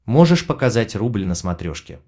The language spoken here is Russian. можешь показать рубль на смотрешке